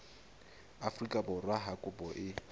afrika borwa ha kopo e